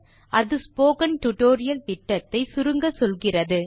அது spoken tutorial திட்டத்தை சுருங்கச்சொல்கிறது